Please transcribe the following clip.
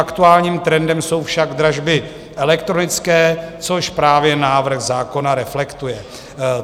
Aktuálním trendem jsou však dražby elektronické, což právě návrh zákona reflektuje.